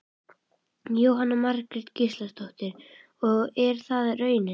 Jóhanna Margrét Gísladóttir: Og er það raunin?